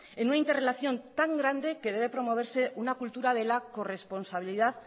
en una interrelación tan grande que debe promoverse una cultura de la corresponsabilidad